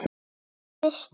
Elsku systir.